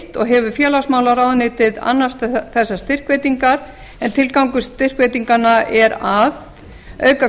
og hefur félagsmálaráðuneytið annast þessar styrkveitingar en tilgangur styrkveitinganna er að auka